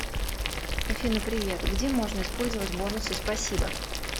афина привет где можно использовать бонусы спасибо